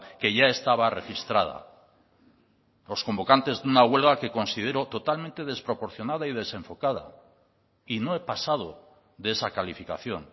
que ya estaba registrada los convocantes de una huelga que considero totalmente desproporcionada y desenfocada y no he pasado de esa calificación